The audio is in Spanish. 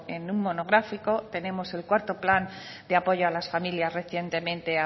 en un monográfico tenemos el cuarto plan de apoyo a las familias recientemente